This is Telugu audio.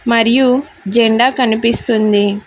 మరియు జెండా కనిపిస్తుంది.